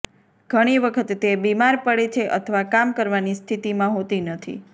ઘણી વખત તે બીમાર પડે છે અથવા કામ કરવાની સ્થિતિમાં હોતી નથી